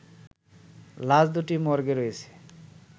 লাশ দুটি মর্গে রয়েছে